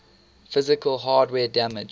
physical hardware damage